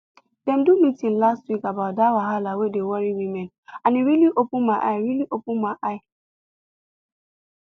dem do meeting last week about that wahala wey dey worry women and e really open eye really open eye